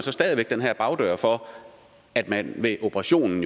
for at man ved operation